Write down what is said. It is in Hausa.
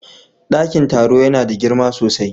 Dakin taro yana da girma sosai.